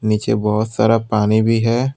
नीचे बहोत सारा पानी भी है।